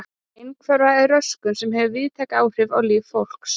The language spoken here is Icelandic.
Einhverfa er röskun sem hefur víðtæk áhrif á líf fólks.